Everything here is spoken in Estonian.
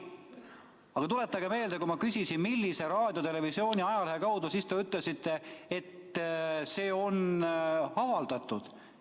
Aga tuletage meelde, kui ma küsisin, millise raadio, televisiooni või ajalehe kaudu on infot edastatud, siis te ütlesite, et see on avaldatud.